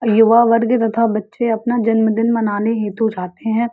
युवा वर्ग तथा बच्चे अपना जन्म दिन मानाने हेतु जाते हैं।